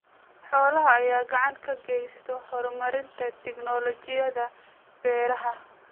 Xoolaha ayaa gacan ka geysta horumarinta tignoolajiyada beeraha.